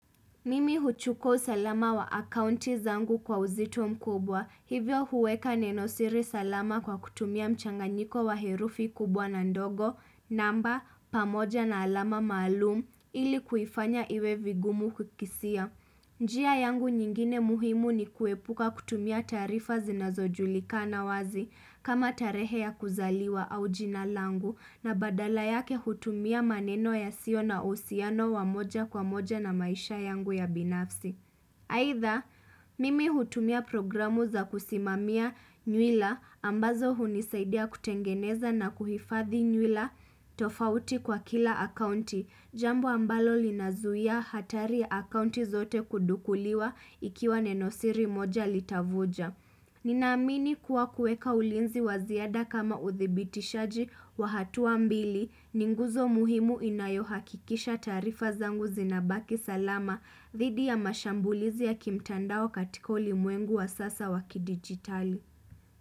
Mimi huchukua usalama wa akaunti zangu kwa uzito mkubwa, hivyo huweka nenosiri salama kwa kutumia mchanganyiko wa herufi kubwa na ndogo, namba, pamoja na alama maalum, ili kuifanya iwe vigumu kukisia. Njia yangu nyingine muhimu ni kuepuka kutumia taarifa zinazojulikana wazi kama tarehe ya kuzaliwa au jinalangu na badala yake hutumia maneno yasio na uhusiano wamoja kwa moja na maisha yangu ya binafsi. Aidha, mimi hutumia programu za kusimamia nywila ambazo hunisaidia kutengeneza na kuhifadhi nywila tofauti kwa kila akaunti, jambo ambalo linazuia hatari akaunti zote kudukuliwa ikiwa nenosiri moja litavuja. Nina amini kuwa kueka ulinzi waziada kama uthibiti shaji wa hatuwa mbili ninguzo muhimu inayohakikisha taarifa zangu zinabaki salama dhidi ya mashambulizi ya kimtandao katika ulimwengu wa sasa waki digitali.